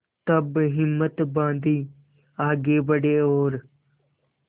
तब हिम्मत बॉँधी आगे बड़े और